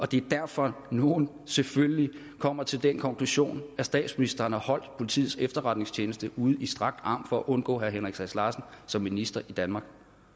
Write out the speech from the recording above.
det er derfor at nogle selvfølgelig kommer til den konklusion at statsministeren har holdt politiets efterretningstjeneste ud i strakt arm for at undgå herre henrik sass larsen som minister i danmark